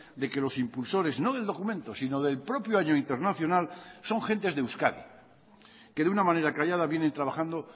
de que los impulsores no del documento sino del propio año internacional son gentes de euskadi que de una manera callada vienen trabajando